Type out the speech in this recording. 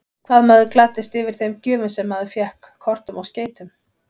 Hvað maður gladdist yfir þeim gjöfum sem maður fékk, kortum og skeytum!